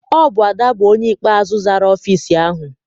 Ọ bụ Ada bụ onye ikpeazụ zara ọfịịsi ahụ.